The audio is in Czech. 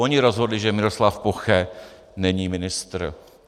Oni rozhodli, že Miroslav Poche není ministr.